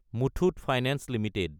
Muthoot finance Ltd